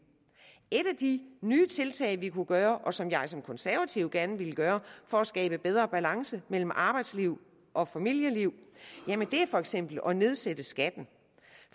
et af de nye tiltag vi kunne gøre og som jeg som konservativ gerne vil gøre for at skabe bedre balance mellem arbejdsliv og familieliv er for eksempel at nedsætte skatten